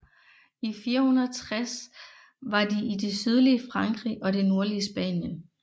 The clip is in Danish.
I 460 var de i det sydlige Frankrig og det nordlige Spanien